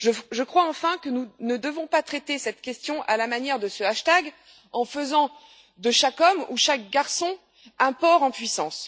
Je crois, enfin, que nous ne devons pas traiter cette question à la manière de ce hashtag, en faisant de chaque homme ou de chaque garçon un porc en puissance.